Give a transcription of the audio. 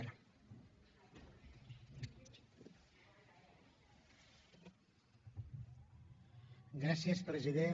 gràcies president